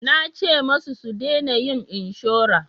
Nace musu su dena yin inshora